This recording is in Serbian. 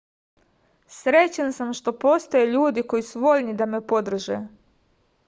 srećan sam što postoje ljudi koji su voljni da me podrže